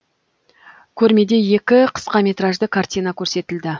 көрмеде екі қысқаметражды картина көрсетілді